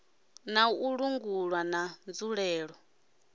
na u langulwa na nzulele